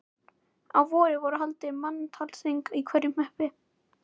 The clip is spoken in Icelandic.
Á vorin voru haldin manntalsþing í hverjum hreppi.